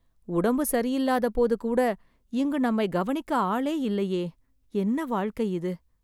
உடம்பு சரியில்லாதபோது கூட இங்கு நம்மை கவனிக்க ஆளே இல்லையே.. என்ன வாழ்க்கை இது